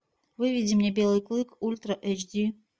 выведи мне белый клык ультра эйч ди